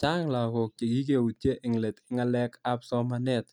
Chang' lakok chikikeutye eng' let eng' ng'alekab somanet